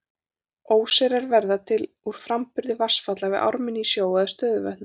Óseyrar verða til úr framburði vatnsfalla við ármynni í sjó eða stöðuvötnum.